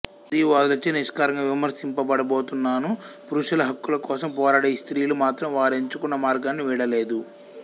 స్త్రీవాదులచే నిష్కర్షగా విమర్శింపబడుతోన్ననూ పురుషుల హక్కుల కోసం పోరాడే ఈ స్త్రీలు మాత్రం వారెంచుకొన్న మార్గాన్ని వీడలేదు